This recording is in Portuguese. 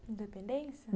Independência?